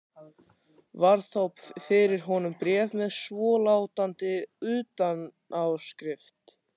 Varð þá fyrir honum bréf með svolátandi utanáskrift